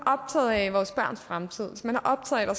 optaget af vores børns fremtid hvis man er optaget af